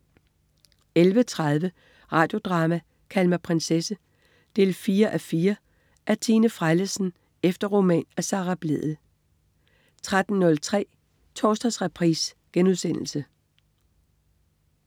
11.30 Radio Drama: Kald mig prinsesse 4:4. Af Tine Frellesen efter roman af Sara Blædel 13.03 Torsdagsreprise*